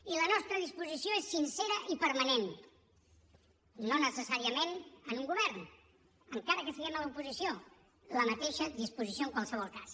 i la nostra disposició és sincera i permanent no necessàriament en un govern encara que siguem a l’oposició la mateixa disposició en qualsevol cas